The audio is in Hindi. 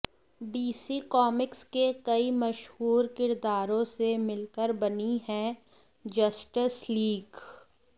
डीसी कॉमिक्स के कई मशहूर किरदारों से मिलकर बनी है जस्टिस लीग